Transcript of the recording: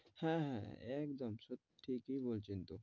হ্যাঁ, হ্যাঁ একদম সত্যি সব ঠিকই বলছেন তো।